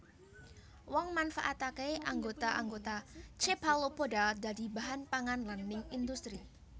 Wong manfaataké anggota anggota Cephalopoda dadi bahan pangan lan ning industri